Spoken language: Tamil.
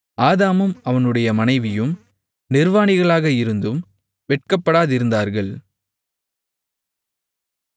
ஆதாமும் அவனுடைய மனைவியும் நிர்வாணிகளாக இருந்தும் வெட்கப்படாதிருந்தார்கள்